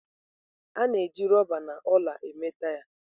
A na-eji rọba na ọla mee taya.